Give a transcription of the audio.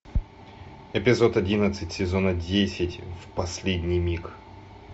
эпизод одиннадцать сезона десять в последний миг